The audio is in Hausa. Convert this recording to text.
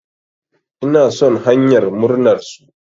Ina son hanyar murnar su.